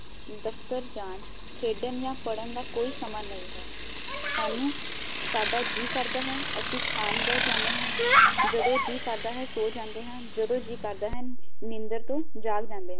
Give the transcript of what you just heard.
ਦਫਤਰ ਜਾਣ ਖੇਡਣ ਜਾ ਪੜਨ ਦਾ ਕੋਈ ਸਮਾਂ ਨਹੀ ਹੈ ਸਾਨੂੰ ਸਾਡਾ ਜੀ ਕਰਦਾ ਹੈ ਅਸੀਂ ਖਾਣ ਬੀਹ ਜਾਂਦੇ ਹਾਂ, ਜਦੋ ਜੀਅ ਕਰਦਾ ਹੈ ਸੌ ਜਾਂਦੇ ਹਾਂ, ਜਦੋ ਜੀਅ ਕਰਦਾ ਹੈ ਨਿੰਦਰ ਤੋ ਜਾਗ ਜਾਂਦੇ ਹਾਂ